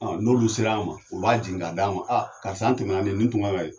N'olu sera a ma u b'a jigin ka d'a ma a karisa an tɛmɛna nin ye nin tun kan ka ye